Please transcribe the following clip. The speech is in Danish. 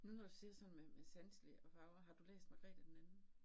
Nu når du siger sådan med med sanseligt og farver, har du læst Magrethe 2.?